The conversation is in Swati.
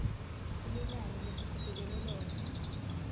elinani lesitibekele lona